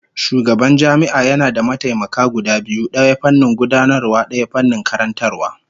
Shugaban jami'a yana da mataimaka guda biyu, daya fannin gudanarwa, daya fannin karantarwa